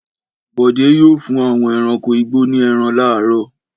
Bọ̀dé yóò fún àwọn ẹranko igbó ní ẹran láàárọ̀.